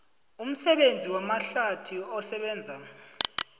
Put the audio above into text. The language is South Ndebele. umsebenzi wamahlathi osebenza